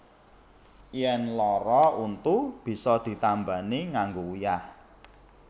Yèn lara untu bisa ditambani nganggo uyah